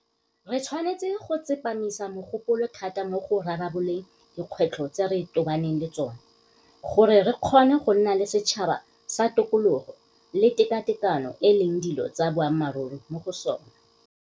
Re tshwanetse go tsepamisa mogopolo thata mo go rarabololeng dikgwetlho tse re tobaneng le tsona gore re kgone go nna le setšhaba se tokologo le tekatekano e leng dilo tsa boammaruri mo go sona.